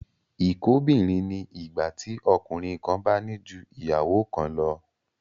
Ìkóbìnrin ni ìgbà tí ọkùnrin kan bá ní ju ìyàwó kan lọ